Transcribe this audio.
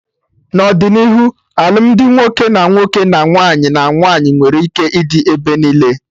N'ọdịnihu alụmdi nwoke na nwoke, na nwaanyị na nwaanyị nwere ike ịdị ebe niile